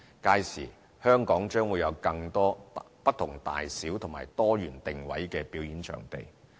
屆時，香港將會有更多不同大小和多元定位的表演場地。